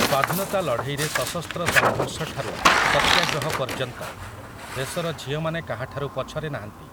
ସ୍ୱାଧୀନତା ଲଢ଼େଇରେ ସଶସ୍ତ୍ର ସଂଘର୍ଷଠାରୁ ସତ୍ୟାଗ୍ରହ ପର୍ଯ୍ୟନ୍ତ, ଦେଶର ଝିଅମାନେ କାହାଠାରୁ ପଛରେ ନାହାନ୍ତି ।